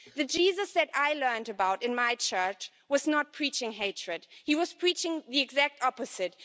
The Jesus that I learned about in my church, was not preaching hatred, he was preaching the exact opposite.